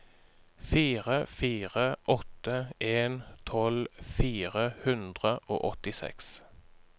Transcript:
fire fire åtte en tolv fire hundre og åttiseks